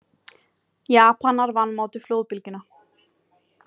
Japanar vanmátu flóðbylgjuna